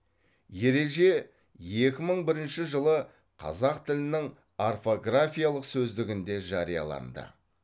ерерже екі мың бірінші жылы қазақ тілінің орфографиялық сөздігінде жарияланды